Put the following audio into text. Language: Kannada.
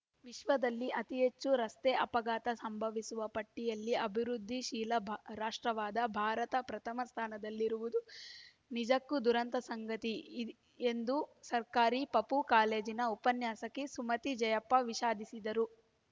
ವಿಶ್ವದಲ್ಲಿ ಅತಿಹೆಚ್ಚು ರಸ್ತೆ ಅಪಘಾತ ಸಂಭವಿಸುವ ಪಟ್ಟಿಯಲ್ಲಿ ಅಭಿವೃದ್ಧಿಶೀಲ ರಾಷ್ಟ್ರವಾದ ಭಾರತ ಪ್ರಥಮ ಸ್ಥಾನದಲ್ಲಿರುವುದು ನಿಜಕ್ಕೂ ದುರಂತದ ಸಂಗತಿ ಇ ಎಂದು ಸರ್ಕಾರಿ ಪಪೂ ಕಾಲೇಜಿನ ಉಪನ್ಯಾಸಕಿ ಸುಮತಿ ಜಯಪ್ಪ ವಿಷಾದಿಸಿದರು